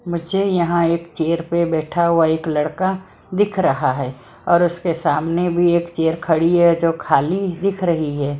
मुझे यहां एक चेयर पर बैठा हुआ एक लड़का दिख रहा है और उसके सामने भी एक चेयर खड़ी है जो खाली दिख रही है।